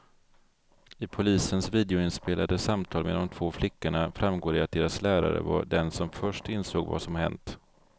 I polisens videoinspelade samtal med de två flickorna framgår det att deras lärare var den som först insåg vad som hänt.